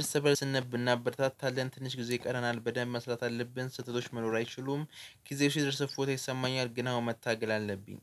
እርስ በእርስ እንብ እናበረታታለን። ትንሽ ጊዜ ይቀረናል። በደንብ መስራት አለብን። ስህተቶች መኖር አይችሉም። ጊዜው ሲደርስ እፎይታ ይሰማኛል፤ ግን አሁን መታገል አለብኝ።